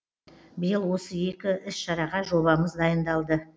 биыл осы екі іс шараға жобамыз дайындалды